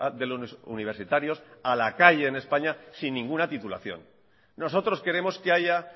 de los universitarios a la calle en españa sin ninguna titulación nosotros queremos que haya